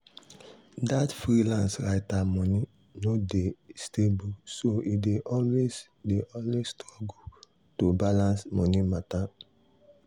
that freelance writer money no dey stable so e dey always dey always struggle to balance money matter.